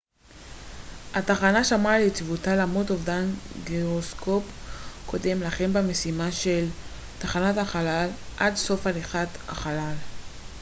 התחנה שמרה על יציבותה למרות אובדן גירוסקופ קודם לכן במשימה של תחנת החלל עד סוף הליכת החלל